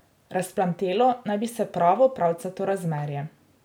Razplamtelo naj bi se pravo pravcato razmerje.